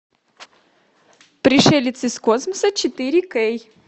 пришелец из космоса четыре кей